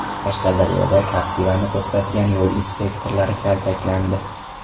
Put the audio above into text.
Qashqadaryoda Captiva’ni to‘xtatgan yo‘l inspektorlari kaltaklandi.